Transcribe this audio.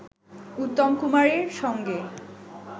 উত্তম কুমারের সঙ্গে